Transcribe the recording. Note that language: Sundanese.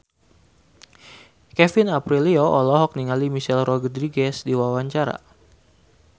Kevin Aprilio olohok ningali Michelle Rodriguez keur diwawancara